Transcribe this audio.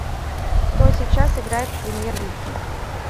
кто сейчас играет в премьер лиге